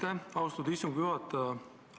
Aitäh, austatud istungi juhataja!